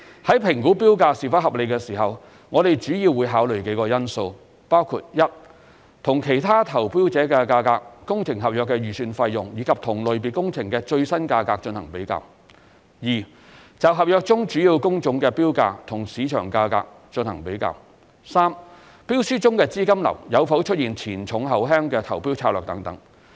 在評估標價是否合理時，我們主要會考慮幾個因素，包括 ：1 與其他投標者的價格、工程合約的預算費用，以及同類別工程的最新價格進行比較 ；2 就合約中主要工種的標價與市場價格進行比較 ；3 標書中的資金流有否出現"前重後輕"的投標策略等。